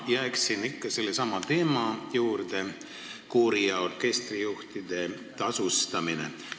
Ma jään ikka sellesama teema juurde: koori- ja orkestrijuhtide tasustamine.